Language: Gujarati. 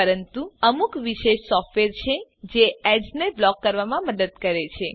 પરંતુ અમુક વિશેષ સોફ્ટવેર છે જે એડીએસ ને બ્લોક કરવામાં મદદ કરે છે